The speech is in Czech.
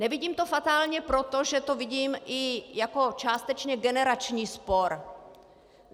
Nevidím to fatálně proto, že to vidím i jako částečně generační spor.